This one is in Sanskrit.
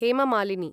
हेम मालिनी